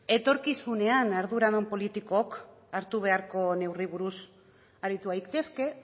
etorkizunean arduradun politikoek hartu beharko duten neurriei buruz aritu gaitezke